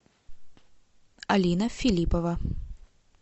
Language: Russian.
алина филиппова